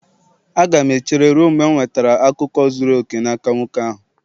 Aga m echere ruo mgbe m nwetara akụkọ zuru oke n'aka nwoke ahụ